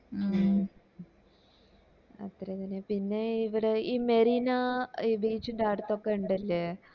മ് അത്ര വരെ പിന്നേ ഇവിടെ ഈ മെറീന beach ന്റടത്തോക്കെ ഇണ്ടല്ലേ